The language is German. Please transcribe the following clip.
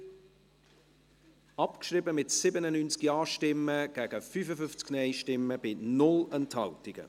Sie haben die Ziffer 4 abgeschrieben, mit 97 Ja- gegen 55 Nein-Stimmen bei 0 Enthaltungen.